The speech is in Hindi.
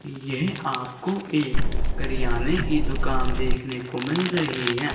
ये आपको एक करियाने की दुकान देखने को मिल रही है।